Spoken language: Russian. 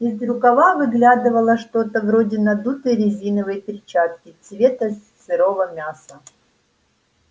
из рукава выглядывало что-то вроде надутой резиновой перчатки цвета сырого мяса